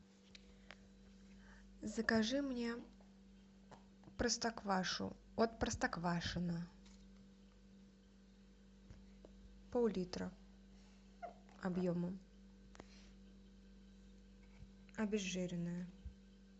закажи мне простоквашу от простоквашино пол литра объемом обезжиренную